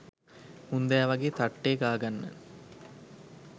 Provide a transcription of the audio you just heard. මුන්දෑ වගේ තට්ටේ ගාගන්න